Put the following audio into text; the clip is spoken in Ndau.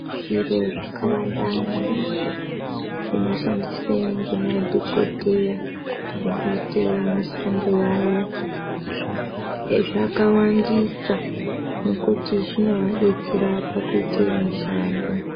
Zviro zvikawanda maningi zvinoshandiswe ngemadhokodheya mukuite mushando yavo. Zvakawandisa ngekuti zvinovadetsera mukuita mishando.